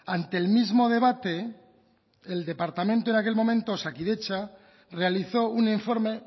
ante el mismo debate el departamento en aquel momento osakidetza realizó un informe